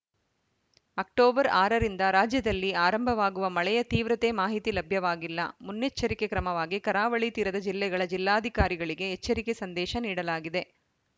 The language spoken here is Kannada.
ಅಕ್ಟೋಬರ್ ಆರ ರಿಂದ ರಾಜ್ಯದಲ್ಲಿ ಆರಂಭವಾಗುವ ಮಳೆಯ ತೀವ್ರತೆ ಮಾಹಿತಿ ಲಭ್ಯವಾಗಿಲ್ಲ ಮುನ್ನೆಚ್ಚರಿಕೆ ಕ್ರಮವಾಗಿ ಕರಾವಳಿ ತೀರದ ಜಿಲ್ಲೆಗಳ ಜಿಲ್ಲಾಧಿಕಾರಿಗಳಿಗೆ ಎಚ್ಚರಿಕೆ ಸಂದೇಶ ನೀಡಲಾಗಿದೆ